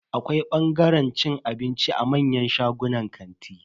Akwai bangaren cin abinci a manyan shagunan kanti.